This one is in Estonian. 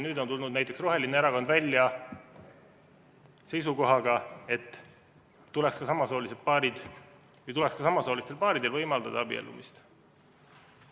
Nüüd on tulnud näiteks roheline erakond välja seisukohaga, et tuleks ka samasoolistel paaridel võimaldada abiellumist.